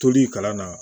Toli kalan na